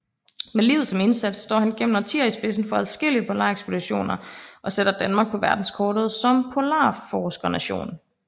Med livet som indsats står han gennem årtier i spidsen for adskillige polarekspeditioner og sætter Danmark på verdenskortet som polarforskernation